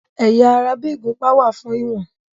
Ẹ̀yà ara bí ìgúnpá wà fún ìwọ̀n.